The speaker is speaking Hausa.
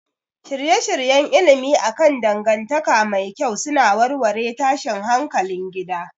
Shirye-shiryen ilimi akan dangantaka mai kyau suna warware tashin hankalin gida